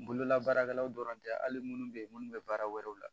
Bololabaarakɛlaw dɔrɔn tɛ hali munnu bɛ yen minnu bɛ baara wɛrɛw la